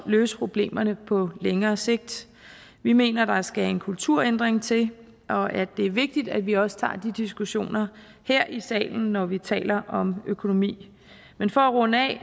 løse problemerne på længere sigt vi mener der skal en kulturændring til og at det er vigtigt at vi også tager de diskussioner her i salen når vi taler om økonomi men for at runde af